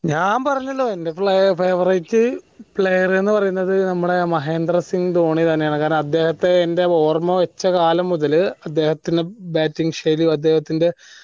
ഞാൻ പറഞ്ഞല്ലോ എന്റെ favourite player എന്ന പറയുന്നത് നമ്മടെ മഹേന്ദ്ര സിംഗ് ധോണി തെന്നെയാണ് കാരണം അദ്ദേഹത്തെ എന്റെ ഓർമ്മ വെച്ച കാലം മുതൽ അദ്ദേഹത്തിന്റെ bating ശൈലിയും അദ്ദേഹത്തിന്റെ